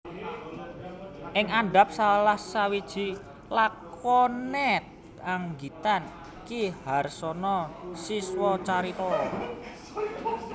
Ing andhap salah sawiji lakonet anggitan Ki Harsono Siswocarito